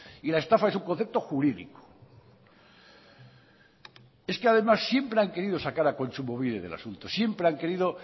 y la estafa es un concepto jurídico es que además siempre han querido sacar a kontsumobide del asunto